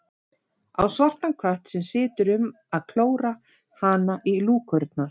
Á svartan kött sem situr um að klóra hana í lúkurnar.